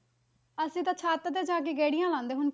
ਅਸੀਂ ਤਾਂ ਛੱਤ ਤੇ ਜਾ ਕੇ ਗੇੜੀਆਂ ਲਾਉਂਦੇ ਹੁਣ।